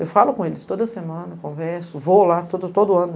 Eu falo com eles toda semana, converso, vou lá todo, todo ano.